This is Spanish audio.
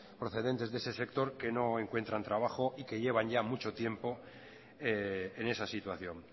procedentes de ese sector que no encuentran trabajo y que llevan ya mucho tiempo en esa situación